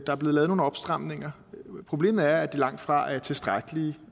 er blevet lavet nogle opstramninger problemet er at de langt fra er tilstrækkelige